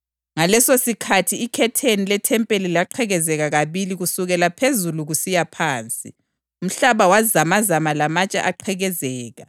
Ngalesosikhathi ikhetheni lethempeli laqhekezeka kabili kusukela phezulu kusiya phansi. Umhlaba wazamazama lamatshe aqhekezeka.